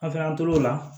An fɛ yan an tor'o la